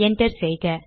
enter செய்க